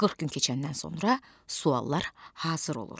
40 gün keçəndən sonra suallar hazır olur.